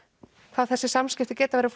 hvað þessi samskipti geta verið